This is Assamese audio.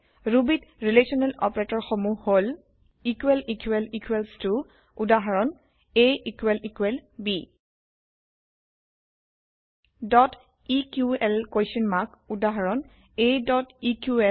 ৰুবিত ৰিলেচনেল অপাৰেতৰ সমুহ হল ইকোৱেলছ ত উদাহৰণ ab dot equal question mark উদাহৰণ aeql